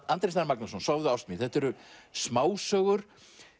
Andri Snær Magnason sofðu ást mín þetta eru smásögur